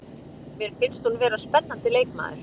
Mér finnst hún vera spennandi leikmaður.